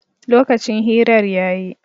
Lokacin hirar ya yi